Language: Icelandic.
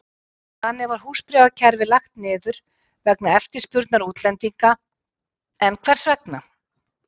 Þannig var húsbréfakerfið lagt niður vegna eftirspurnar útlendinga, en hvers vegna?